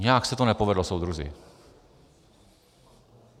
Nějak se to nepovedlo, soudruzi.